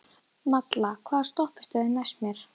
Malla, hvaða stoppistöð er næst mér?